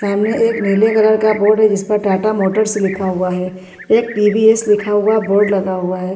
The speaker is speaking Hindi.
सामने एक नीले कलर का बोर्ड है जिस पर टाटा मोटर्स लिखा हुआ है एक टी_वी_एस लिखा हुआ बोर्ड लगा हुआ है सामने --